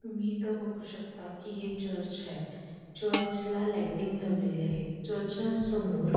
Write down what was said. तुम्ही इथे बघू शकता कि इथे चर्च हाये चर्चला लायटिंग लावलेली आहेत चर्चच्या समोर --